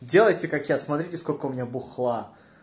делайте как я смотрите сколько у меня бухла